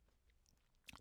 DR K